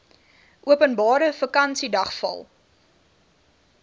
openbare vakansiedag val